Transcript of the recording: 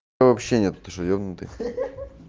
вообще нет ты что ебнутый хе хе хе